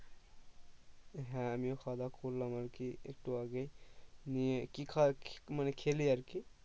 হ্যাঁ আমিও খাওয়া দাওয়া করলাম আর কি একটু আগেই নিয়ে কি খাবার মানে খেলি আর কি